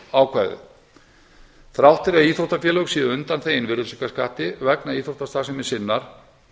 undanþáguákvæðið þrátt fyrir að íþróttafélög séu undanþegin virðisaukaskatti vegna íþróttastarfsemi sinnar